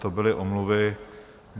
To byly omluvy.